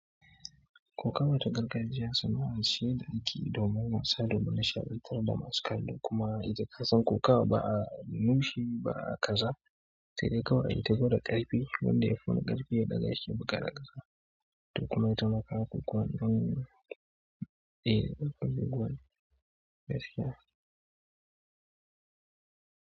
Kokawa ta gargajiya sanaa ce da akeyi domin wasa domin nishatantar da masu kallo kuma ita kasan kokawa ba a nushi ba a kaza. Sai dai kawai ayi ta gwada ƙarfi wanda ya fi wani ƙarfi ya da gashi ya buda da kasa to kuma itama kaga kokawa iɗin ƙarfi gwan gaskiya.